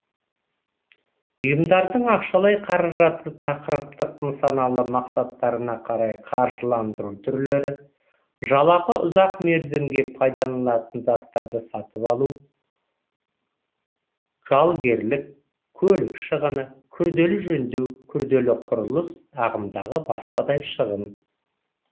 ұйымдардың ақшалай қаражаты тақырыптық нысаналы мақсаттарына қарай қаржыландыру түрлері жалақы ұзақ мерзімге пайдаланылатын заттарды сатып алу жалгерлік көлік шығыны күрделі жөндеу күрделі құрылыс ағымдағы басқадай шығын